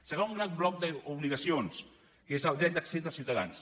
segon gran bloc d’obligacions que és el dret d’accés dels ciutadans